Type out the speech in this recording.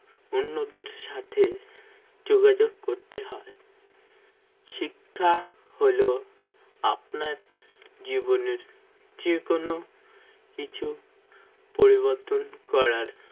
উন্নতির সাথে যোগাযোগ করতে হবে শিক্ষা হল আপনার জীবনের যেকোনো কিছু পরিবর্তন করার